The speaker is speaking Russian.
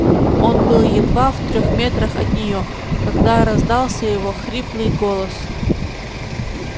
он был едва в трёх метрах от неё когда раздался его хриплый голос